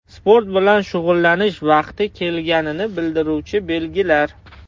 Sport bilan shug‘ullanish vaqti kelganini bildiruvchi belgilar.